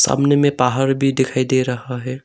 सामने में पहाड़ भी दिखाई दे रहा है।